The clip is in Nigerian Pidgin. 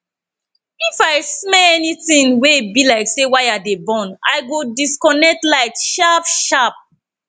if i smell anytin wey bi like say wire dey burn i go disconnect light sharp sharp